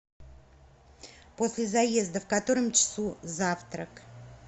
после заезда в котором часу завтрак